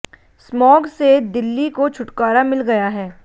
smog से दिल्ली को छुटकारा मिल गया है